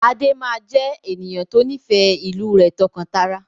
Adé máa jẹ ènìyàn to nifẹ ìlú rẹ tọ́kan-tara.